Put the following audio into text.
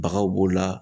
Bagaw b'o la